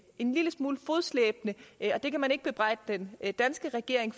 en lille smule fodslæbende det kan man ikke bebrejde den danske regering